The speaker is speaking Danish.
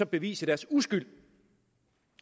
bevise deres uskyld